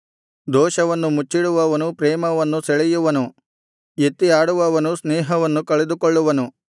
ದೋಷವನ್ನು ಮುಚ್ಚಿಡುವವನು ಪ್ರೇಮವನ್ನು ಸೆಳೆಯುವನು ಎತ್ತಿ ಆಡುತ್ತಿರುವವನು ಸ್ನೇಹವನ್ನು ಕಳೆದುಕೊಳ್ಳುವನು